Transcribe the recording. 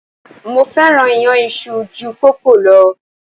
Mo fẹ́ràn iyán isu ju kòókòó lọ.